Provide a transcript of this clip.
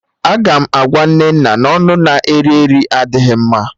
Aga m agwa Nnenna na ọnụ na-eri eri adịghị mma